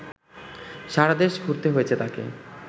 সারা দেশ ঘুরতে হয়েছে তাঁকে